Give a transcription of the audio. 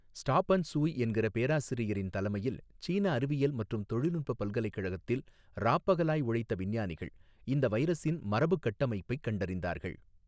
ஸ்டாபன் ஸூய் என்கிற பேராசிரியரின் தலைமையில் சீன அறிவியல் மற்றும் தொழில்நுட்பப் பல்கலைக்கழகத்தில் ராப் பகலாய் உழைத்த விஞ்ஞானிகள் இந்த வைரஸின் மரபுக் கட்டமைப்பைக் கண்டறிந்தார்கள்.